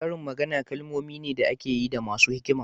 Karin magana kalmomi ne da ake yi da masu hikima.